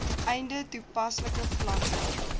einde toepaslike vlakke